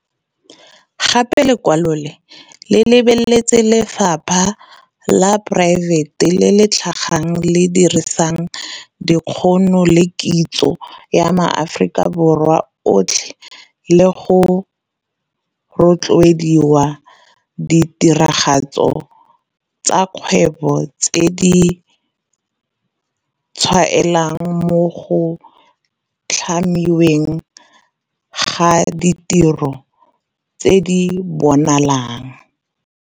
Gape lekwalo le lebeletse 'lephata la poraefete le le tlhaga, le le dirisang dikgono le kitso ya maAforika Borwa otlhe le go rotloediwa ditiragatso tsa kgwebo tse di tshwaelang mo go tlhamiweng ga ditiro tse di bonalang.'